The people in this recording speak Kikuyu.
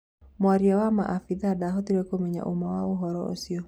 Mũaria wa Maabithaa ndahotirĩ kũmenya ũma wa ũhoro ũcio